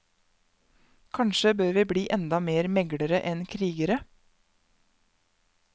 Kanskje bør vi bli enda mer meglere enn krigere.